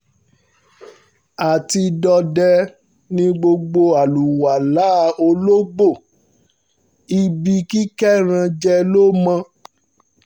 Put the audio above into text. àtidédè ni gbogbo aláwàálà olókbó adágúndọ̀dọ́ ibi kíkéran jẹ ló mọ̀